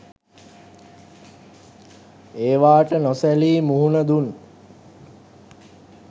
ඒවාට නොසැලී මුහුණ දුන්